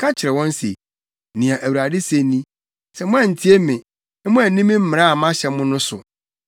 Ka kyerɛ wɔn se, ‘Nea Awurade se ni: Sɛ moantie me, na moanni me mmara a mahyɛ mo no so,